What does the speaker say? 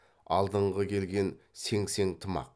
алдыңғы келген сеңсең тымақ